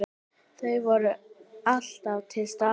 Þau voru alltaf til staðar.